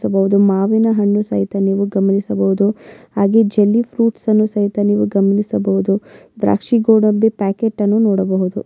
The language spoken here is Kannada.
ಸಬಹುದು ಮಾವಿನ ಹಣ್ಣು ಸಹಿತ ನೀವು ಸಹ ಗಮನಿಸಬಹುದು ಹಾಗೆ ಜೆಲ್ಲಿ ಫ್ರೂಟ್ ಅನ್ನು ಸಹಿತ ನೀವು ಗಮನಿಸಬಹುದು ದ್ರಾಕ್ಷಿ ಗೋಡಂಬಿ ಪ್ಯಾಕೆಟ್ ಅನ್ನು ನೋಡಬಹುದು.